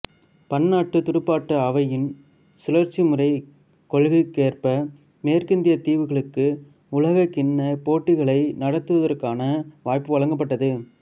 பன்னாட்டுத் துடுப்பாட்ட அவையின் சுழற்சிமுறை கொள்கைக்கேற்ப மேற்கிந்தியத் தீவுகளுக்கு உலகக்கிண்ணப் போட்டிகளை நடத்துவதற்கான வாய்ப்பு வழங்கப்பட்டது